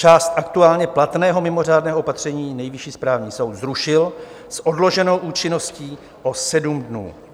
Část aktuálně platného mimořádného opatření Nejvyšší správní soud zrušil s odloženou účinností o sedm dnů.